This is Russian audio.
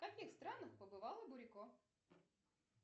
в каких странах побывала бурико